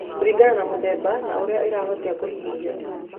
Kũriganaga na mũthemba na ũrĩa ĩrahutia kũhihia.